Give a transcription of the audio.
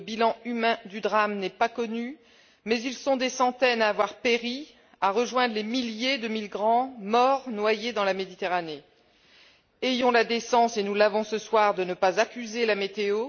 Le bilan humain du drame n'est pas connu, mais ils sont des centaines à avoir péri, à avoir rejoint les milliers de migrants morts noyés dans la Méditerranée. Ayons la décence et nous l'avons ce soir de ne pas accuser la météo.